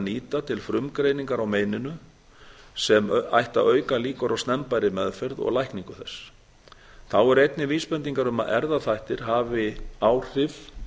nýta til frumgreiningar á meininu sem ætti að auka líkur á snemmbærri meðferð og lækningu þess þá eru einnig vísbendingar um að erfðaþættir hafi áhrif